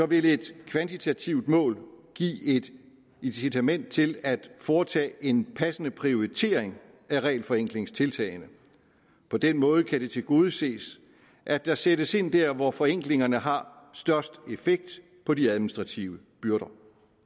vil et kvantitativt mål give et incitament til at foretage en passende prioritering af regelforenklingstiltagene på den måde kan det tilgodeses at der sættes ind der hvor forenklingerne har størst effekt på de administrative byrder